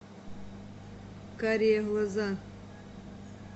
карие глаза